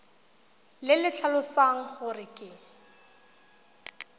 le le tlhalosang gore ke